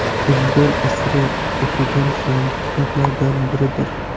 Futbol asri” o‘qigan so‘nggi kitoblardan biridir.